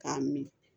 K'a min